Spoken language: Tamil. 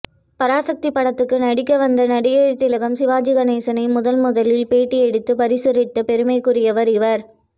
பராசக்தி படத்துக்கு நடிக்க வந்த நடிகர் திலகம் சிவாஜி கணேசனை முதன் முதலில் பேட்டி எடுத்து பிரசுரித்த பெருமைக்குரியவர் இவர்